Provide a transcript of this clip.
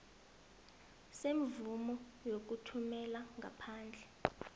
semvumo yokuthumela ngaphandle